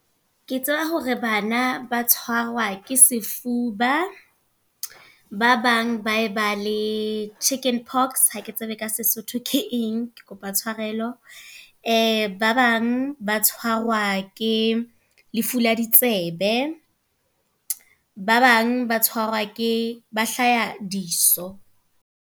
Ke tseba hore bana, ba tshwarwa ke sefuba. Ba bang ba e ba le chicken pox, hake tsebe ka Sesotho ke eng ke kopa tshwarelo. Ba bang ba tshwarwa ke lefu la ditsebe. Ba bang ba tshwarwa ke, ba hlaha diso.